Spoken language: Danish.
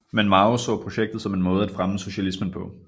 Men Mao så projektet som en måde at fremme socialismen på